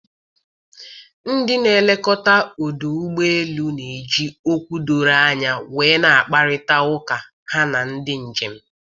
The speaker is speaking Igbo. Ndị na-elekọta ọdụ ụgbọ elu na-eji okwu dọrọ anya wee na-agkparịta ụka ha na ndị njem.